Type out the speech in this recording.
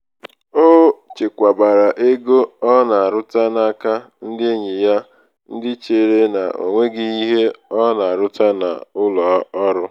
o chekwabara ego ọ na aruta n’aka ndị enyi ya ndị chere na ọnweghị ihe ọ na aruta n'ụlọ ọrụ